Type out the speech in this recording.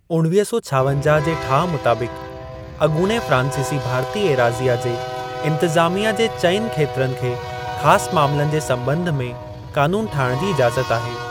उणवीह सौ छावंजाह जे ठाहु मुताबिक़, अॻूणे फ्रांसीसी भारती एराज़ीअ जे इंतज़ामिया जे चाइनि खेत्रनि खे ख़ास मामलनि जे संॿंध में क़ानून ठाहिण जी इज़ाज़त आहे।